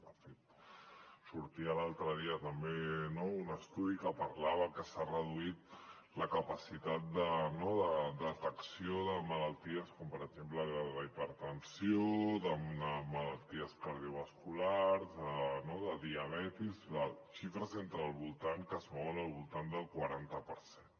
de fet sortia l’altre dia també no un estudi que parlava que s’ha reduït la capacitat de detecció de malalties com per exemple la hipertensió de malalties cardiovasculars no de diabetis amb xifres que es mouen al voltant del quaranta per cent